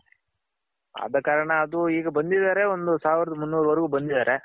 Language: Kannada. ಆದ ಕಾರಣ ಈಗ್ ಬಂದಿದಾರೆ ಒಂದು ಸಾವಿರಾದ್ ಮುನ್ನೂರ್ ವರೆಗೂ ಬಂದಿದ್ದಾರೆ.